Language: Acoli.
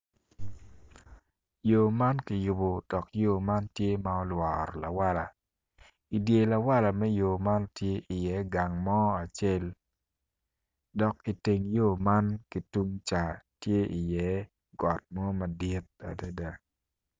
Yo man kiyubo dok yo man tye ma olworo lawala idye lawala me yo man tye iye gang acel dok iteng yo man ki tungca tye iye got mo madit adada.